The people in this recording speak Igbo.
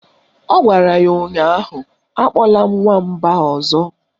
Ọ gwara ya ụnyaahụ "Akpọla m Nwamba ọzọ"!